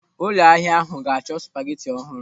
Ụlọ ahịa ahụ ga-achọ spageti ọhụrụ.